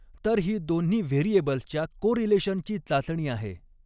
तर ही दोन्ही व्हेरिएबल्सच्या कोरीलेशनची चाचणी आहे.